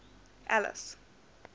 alice